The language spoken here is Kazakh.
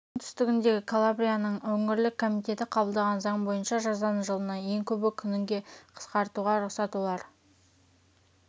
оңтүстігіндегі калабрияның өңірлік комитеті қабылдаған заң бойынша жазаны жылына ең көбі күнге қысқартуға рұқсат олар